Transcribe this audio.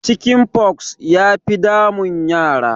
Chicken pox ya fi damun yara